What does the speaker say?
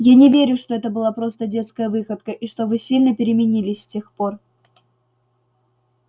я не верю что это была просто детская выходка и что вы сильно переменились с тех пор